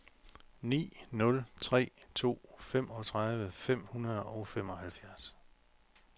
ni nul tre to femogtredive fem hundrede og femoghalvfjerds